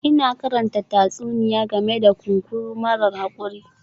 Ina karanta tatsuniya game da kunkuru marar haƙuri